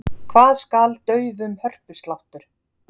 Hvað skal daufum hörpusláttur?